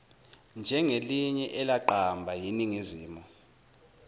njengelinye elaqamba yiningizimu